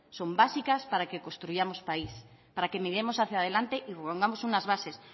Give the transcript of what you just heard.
son básicas para que construyamos país para que miremos hacia adelante y pongamos unas bases